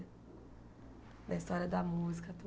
Na história da música,